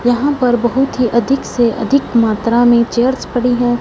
यहां पर बहुत ही अधिक से अधिक मात्रा में चेयर्स पड़ी हैं।